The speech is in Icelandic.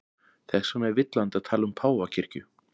Þess vegna er villandi að tala um páfakirkju.